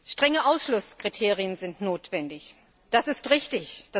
Strenge Ausschlusskriterien sind notwendig. Das ist richtig.